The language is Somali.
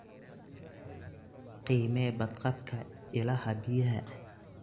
Qiimee badqabka ilaha biyaha.